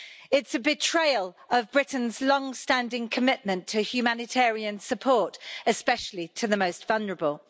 It is a betrayal of Britain's long standing commitment to humanitarian support, especially to the most vulnerable.